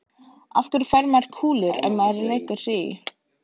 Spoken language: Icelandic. Af hverju fær maður kúlur ef maður rekur sig í?